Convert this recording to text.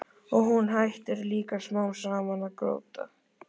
Og hún hættir líka smám saman að gráta.